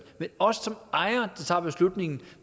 men os som ejere der tager beslutningen